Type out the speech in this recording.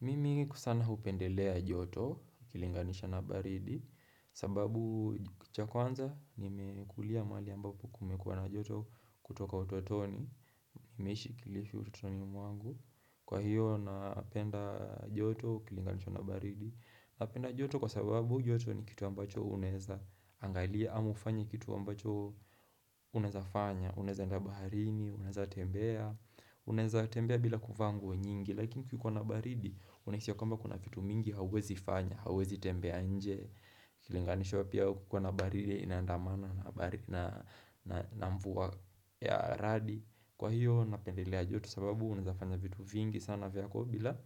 Mimi kusana hupendelea joto ukilinganisha na baridi sababu cha kwanza nimekulia mahali ambapo kumekuwa na joto kutoka utotoni Nimeishi kilifu utotoni mwangu Kwa hiyo napenda joto ukilinganisha na baridi Napenda joto kwa sababu joto ni kitu ambacho unaweza Angalia ama kufanya kitu ambacho unawezafanya Unaweza enda baharini, unaweza tembea Unaweza tembea bila kuvaa nguo nyingi Lakini kukiwa na baridi, unahisi kwamba kuna vitu mingi hauwezi fanya, hauwezi tembea nje Ukilinganisha pia kukiwa na baridi inandamana na mvua ya radi Kwa hiyo, napendelea joto sababu unazafanya vitu vingi sana vyako bila